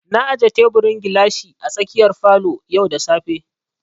Na aje teburin gilashi a tsakiyar falo yau da safe